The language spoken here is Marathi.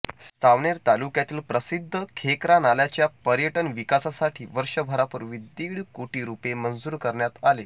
सावनेर तालुक्यातील प्रसिद्ध खेकरा नालाच्या पयर्टन विकासासाठी वर्षभरापूर्वी दीड कोटी रुपये मंजूर करण्यात आले